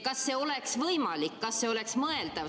Kas see oleks võimalik, kas see oleks mõeldav?